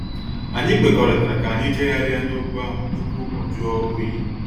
Anyị kwekọrịtara ka anyị jegharia na okwu ahụ tupu ọ jụọ oyi.